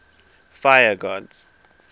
fire gods